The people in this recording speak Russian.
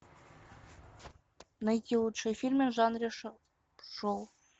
найти лучшие фильмы в жанре шоу